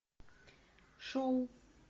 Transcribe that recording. шоу